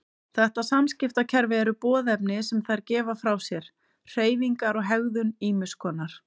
Þetta samskiptakerfi eru boðefni sem þær gefa frá sér, hreyfingar og hegðun ýmiss konar.